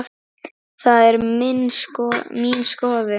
Það er mín skoðun.